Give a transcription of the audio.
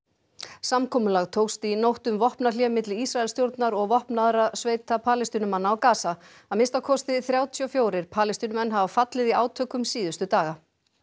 samkomulag tókst í nótt um vopnahlé milli Ísraelsstjórnar og vopnaðra sveita Palestínumanna á Gaza að minnsta kosti þrjátíu og fjögur Palestínumenn hafa fallið í átökum síðustu daga